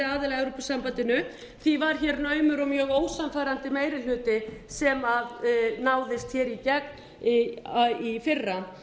að evrópusambandinu því var hér naumur og mjög ósannfærandi meiri hluti sem náðist hér í gegn í fyrra